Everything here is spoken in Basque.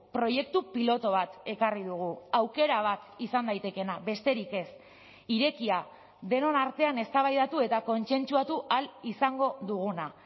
proiektu pilotu bat ekarri dugu aukera bat izan daitekeena besterik ez irekia denon artean eztabaidatu eta kontsentsuatu ahal izango duguna